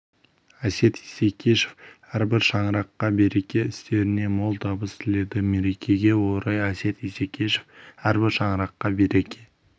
әсет исекешев әрбір шаңыраққа береке істеріне мол табыс тіледі мерекеге орай әсет исекешев әрбір шаңыраққа береке